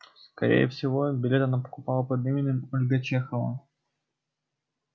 скорее всего билет она покупала под именем ольга чехова